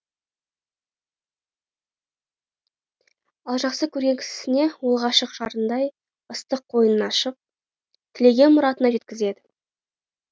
ал жақсы көрген кісініне ол ғашық жарындай ыстық қойнын ашып тілеген мұратына жеткізеді